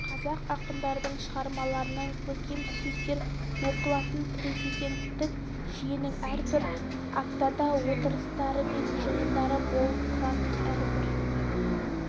қазақ ақындарының шығармаларынан көркем сөздер оқылатын президенттік жүйенің әрбір аптада отырыстары мен жиындары болып тұратын әрбір